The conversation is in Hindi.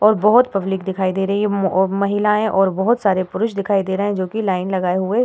और बहोत पब्लिक दिखाई दे रही है और महिलायें और बहोत सारे पुरुष दिखाई दे रहे हैं जोकि लाइन लगाए हुए --